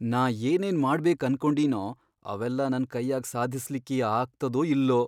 ನಾ ಏನೇನ್ ಮಾಡ್ಬೇಕ್ ಅನ್ಕೊಂಡಿನೊ ಅವೆಲ್ಲಾ ನನ್ ಕೈಯಾಗ್ ಸಾಧಸ್ಲಿಕ್ಕಿ ಆಗ್ತದೊ ಇಲ್ಲೊ.